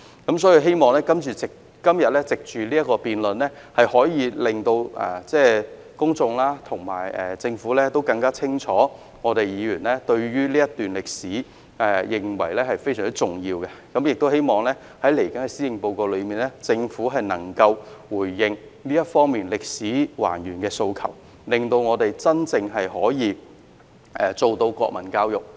所以，我希望藉着今天的辯論，可以令公眾和政府更加清楚知道議員認為這段歷史非常重要，也希望在接着的施政報告中，政府能夠回應還原這段歷史的訴求，讓我們真正可以做到國民教育。